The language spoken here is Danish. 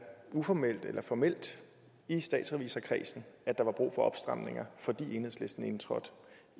uformelt eller formelt i statsrevisorkredsen at der var brug for opstramninger fordi enhedslisten indtræder